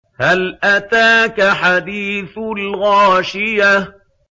هَلْ أَتَاكَ حَدِيثُ الْغَاشِيَةِ